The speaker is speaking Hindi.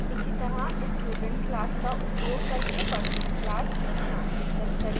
इसीतरह student class का उपयोग करके person class दृष्टांतिकृत करें